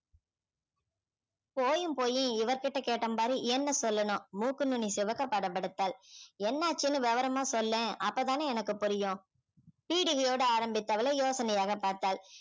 போயும் போயும் இவர் கிட்ட கேட்டேன் பாரு என்னை சொல்லணும் மூக்கு நுனி சிவக்க படபடத்தாள் என்ன ஆச்சுன்னு விவரமா சொல்லேன் அப்பதானே எனக்கு புரியும் பீடிகையோடு ஆரம்பித்தவளை யோசனையாக பார்த்தாள்